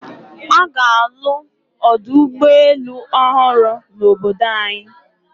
A ga-alụ ọdụ ụgbọelu ọhụrụ n'obodo anyị.